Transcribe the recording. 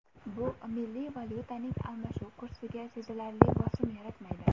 Bu milliy valyutaning almashuv kursiga sezilarli bosim yaratmaydi.